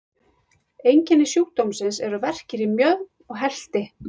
Einkenni sjúkdómsins eru verkir í mjöðm og helti.